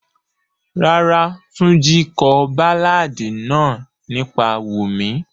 Rárá, Tunji ko baláàdi naa nipa Wumi.